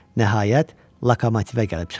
Nəhayət, lokomotivə gəlib çıxdı.